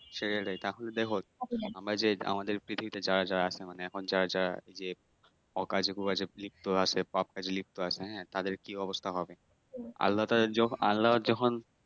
তাহলে দেখো আমরা যে আমাদের পৃথিবীতে যারা যারা আছে মানে এখন যারা যারা ইয়ে অকাজে কুকাজে লিপ্ত আছে পাপ কাজে লিপ্ত আছে হ্যাঁ তাদের কি অবস্থা হবে আল্লাহ তাদের যখন আল্লাহ যখন